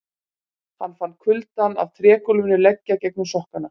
Hann fann kuldann af trégólfinu leggja gegnum sokkana.